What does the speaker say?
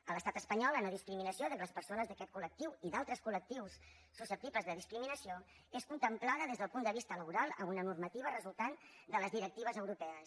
a l’estat espanyol la nodiscriminació de les persones d’aquest col·lectiu i d’altres coltibles de discriminació és contemplada des del punt de vista laboral amb una normativa resultant de les directives europees